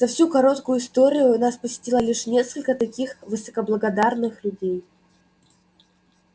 за всю короткую историю нас посетило лишь несколько таких высокоблагородных людей